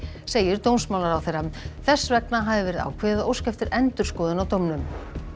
segir dómsmálaráðherra þess vegna hafi verið ákveðið að óska eftir endurskoðun á dómnum